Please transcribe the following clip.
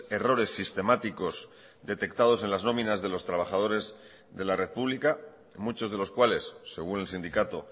errores sistemáticos detectados en las nominas de los trabajadores de la red pública muchos de los cuales según el sindicato